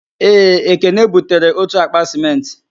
Ee, ekene butere otu akpa sịmentị